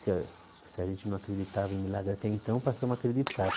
Se a se a gente não acreditava em milagre até então, passamos a acreditar.